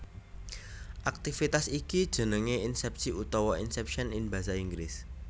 Aktivitas iki jenengé insèpsi utawa inception in Basa Inggris